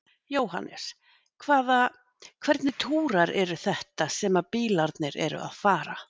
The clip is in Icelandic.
Jóhannes: Hvaða, hvernig túrar eru þetta sem að bílarnir eru að fara?